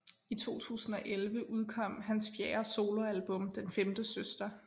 I 2011 udkom hans fjerde soloalbum Den Femte Søster